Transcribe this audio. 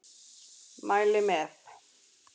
Mæli með.